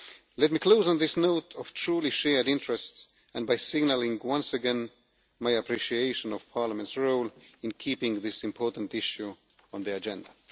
Let me close on this note of truly shared interests and by signalling once again my appreciation of Parliament's role in keeping this important issue on the agenda.